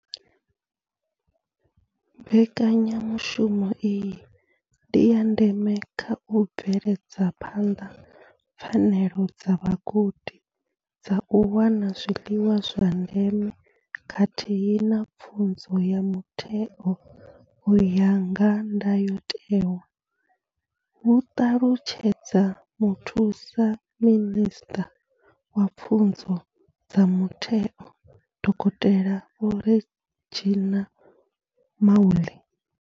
Mbekanyamushumo iyi ndi ya ndeme kha u bveledza phanḓa pfanelo dza vhagudi dza u wana zwiḽiwa zwa ndeme khathihi na pfunzo ya mutheo u ya nga ndayotewa hu ṱalutshedza muthusa minisṱa wa pfunzo dza mutheo, dokotela Vho Reginah Mhaule.